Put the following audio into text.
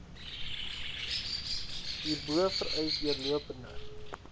hierbo vereis deurlopende